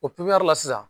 O pipiniyɛri la